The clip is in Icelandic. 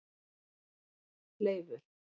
Leifur